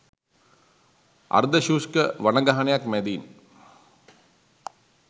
අර්ධ ශුෂ්ක වනගහනයක් මැදින්